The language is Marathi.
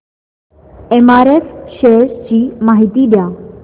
एमआरएफ शेअर्स ची माहिती द्या